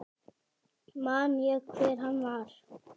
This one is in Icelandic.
Man ég hver hann var?